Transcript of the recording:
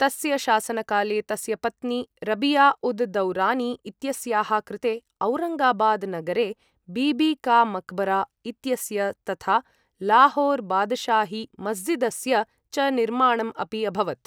तस्य शासनकाले, तस्य पत्नी रबिया उद् दौरानी इत्यस्याः कृते औरङ्गाबाद् नगरे बीबी का मक्बरा इत्यस्य तथा लाहोर् बादशाही मस्जिदस्य च निर्माणम् अपि अभवत्।